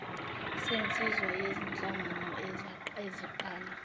senziwa yizinhlangano eziqala